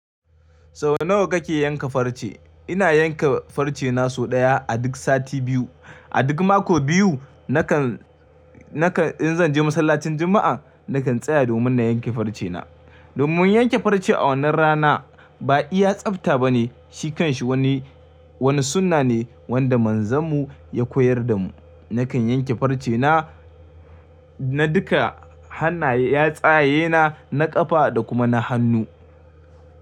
Sau nawa kake yanka farce? Ina yanka farce na sau ɗaya a duk sati biyu. A duk mako biyu nakan, nakan in zan je masallacin Juma'a nakan tsaya domin na yanke farce na. Domin yanke farce a wannan rana ba iya tsafta bane, shi kanshi wani, wani sunna ne wanda manzonmu ya koyar damu. Nakan yanke farce na, na duka hannaye, yatsaye na, na ƙafa da kuma na hannu.